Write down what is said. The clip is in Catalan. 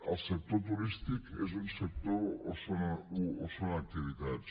el sector turístic és un sector o són activitats